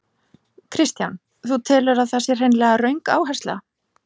Kristján: Þú telur að það sé hreinlega röng áhersla?